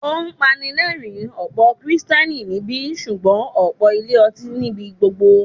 Ó pani lẹ́rìń, ọ̀pọ̀ Kristẹni níbí, ṣùgbọ́n ọ̀pọ̀ ilé ọtí ní ibi gbogbo.